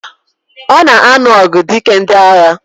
Ona anu ogu dike ndi agha.